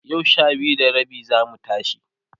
yau Sha biyu da rabi zamu tashi